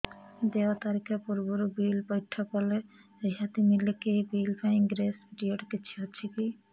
ଦେୟ ତାରିଖ ପୂର୍ବରୁ ବିଲ୍ ପୈଠ କଲେ ରିହାତି ମିଲେକି ଏହି ବିଲ୍ ପାଇଁ ଗ୍ରେସ୍ ପିରିୟଡ଼ କିଛି ଅଛିକି